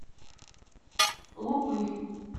лупырь